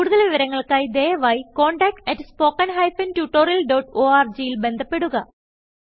കുടുതൽ വിവരങ്ങൾക്കായി ദയവായി contact at spoken hyphen tutorial dot orgൽ ബന്ധപ്പെടുക